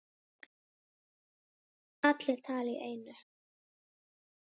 Allir tala í einu.